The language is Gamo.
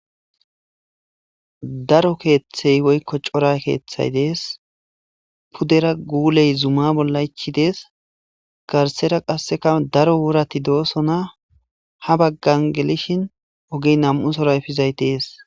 Daro keeththey woykko cora keeththay dees pudera guuley zuma bolla echi dees. garsera qasseka daro worati doosona ha baggan gelishin ogey nam''u sora efizay dees.